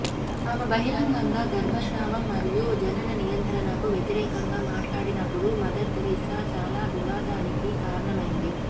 ఆమె బహిరంగంగా గర్భస్రావం మరియు జనన నియంత్రణకు వ్యతిరేకంగా మాట్లాడినప్పుడు మదర్ తెరెసా చాలా వివాదానికి కారణమైంది